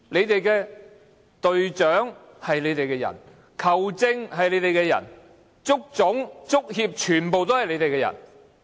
現在隊長是你們的人、球證是你們的人，足總、足協全部都是你們的人。